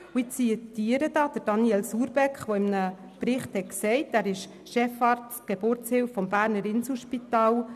Ich zitiere aus einem Bericht von Daniel Surbeck, Chefarzt Geburtshilfe des Berner Inselspitals.